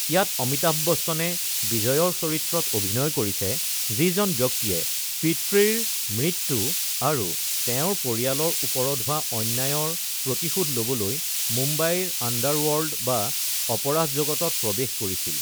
ইয়াত অমিতাভ বচ্চনে বিজয়ৰ চৰিত্ৰত অভিনয় কৰিছে, যিজন ব্যক্তিয়ে পিতৃৰ মৃত্যু আৰু তেওঁৰ পৰিয়ালৰ ওপৰত হোৱা অন্যায়ৰ প্ৰতিশোধ ল’বলৈ মুম্বাইৰ আণ্ডাৰৱৰ্ল্ড বা অপৰাধ জগতত প্ৰৱেশ কৰিছিল।